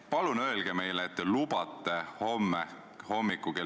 Auväärt istungi juhataja!